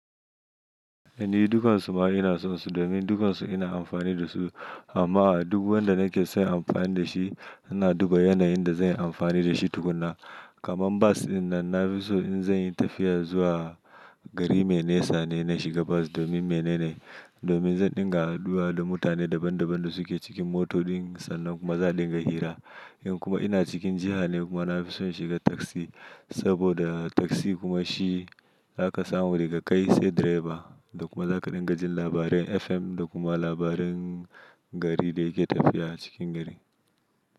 Ni dukansu ma ina so su domin dukansu ina amfani da su amma a duk wanda nake son amfani da shi ina duba yanayin da zan yi amfani da shi tukuna. Kaman bas in na nafi so in zanyi tafiya zuwa gari mai nesa ne na shiga bas domin menene? Domin zan dinga haduwa da mutane daban daban da suke cikin moto din sannan kuma za a dinga hira. In kuma ina cikin jiha ne kuma nafi so in shiga taksi saboda taksi kuma shi zaka samu daga kai sai direba da kuma zaka dinga jin labaran FM da kuma labaran gari da yake tafiya a cikin gari.